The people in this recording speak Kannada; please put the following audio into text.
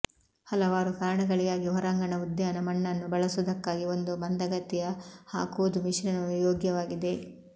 ಹಲವಾರು ಕಾರಣಗಳಿಗಾಗಿ ಹೊರಾಂಗಣ ಉದ್ಯಾನ ಮಣ್ಣನ್ನು ಬಳಸುವುದಕ್ಕಾಗಿ ಒಂದು ಮಂದಗತಿಯ ಹಾಕುವುದು ಮಿಶ್ರಣವು ಯೋಗ್ಯವಾಗಿದೆ